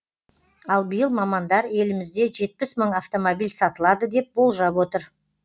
ал биыл мамандар елімізде жетпіс мың автомобиль сатылады деп болжап отыр